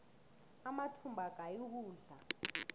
amathumbu agaya ukudla